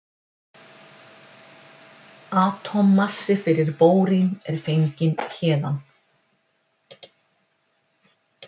Atómmassi fyrir bórín er fenginn héðan.